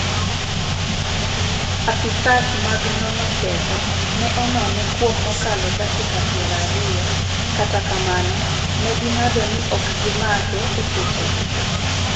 Apisas mag nono ketho ne onone kuom mokalo dakika piero ariyo, kata kamano, ne ging'ado ni ok gimake esechego